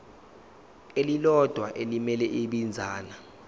elilodwa elimele ibinzana